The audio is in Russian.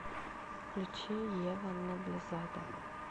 включи ева ноблезада